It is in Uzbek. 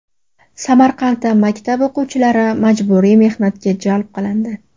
Samarqandda maktab o‘quvchilari majburiy mehnatga jalb qilindi.